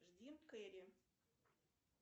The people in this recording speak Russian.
джим керри